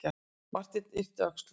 Marteinn yppti öxlum.